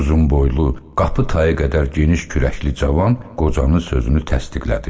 Uzunboylu, qapı tayı qədər geniş kürəkli cavan qocanın sözünü təsdiqlədi.